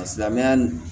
Silamɛya